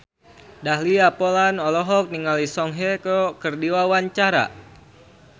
Dahlia Poland olohok ningali Song Hye Kyo keur diwawancara